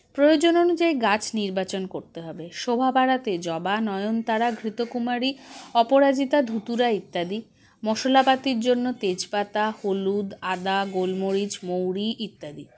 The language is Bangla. প্রয়োজন অনুযায়ী গাছ নির্বাচন করতে হবে শোভা বাড়াতে জবা নয়নতারা ঘৃতকুমারী অপরাজিতা ধুতুরা ইত্যাদি মশলাপাতির জন্য তেজপাতা হলুদ আদা গোলমরিচ মৌরি ইত্যাদি